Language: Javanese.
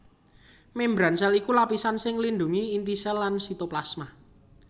Mémbran sèl iku lapisan sing nglindhungi inti sèl lan sitoplasma